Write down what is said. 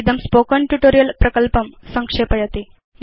इदं spoken tutorial प्रकल्पं संक्षेपयति